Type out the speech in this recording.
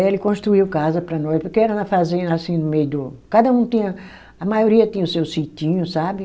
Ele construiu casa para nós, porque era na fazenda, assim, no meio do. Cada um tinha. A maioria tinha o seu sitinho, sabe?